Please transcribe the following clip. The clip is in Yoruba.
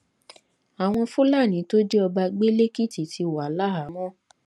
àwọn fúlàní tó jí ọba gbé lẹkìtì ti wà láhàámọ